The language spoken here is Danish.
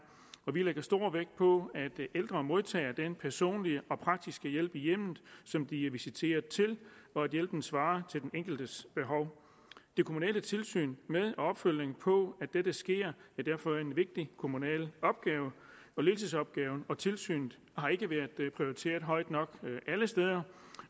vi lægger stor vægt på at ældre modtager den personlige og praktiske hjælp i hjemmet som de er visiteret til og at hjælpen svarer til den enkeltes behov og det kommunale tilsyn med og opfølgning på at dette sker er derfor en vigtig kommunal opgave ledelsesopgaven og tilsynet har ikke været prioriteret højt nok alle steder